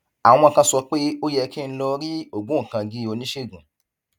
àwọn kan sọ pé ó yẹ kí n lọ rí ògbóǹkangí oníṣègùn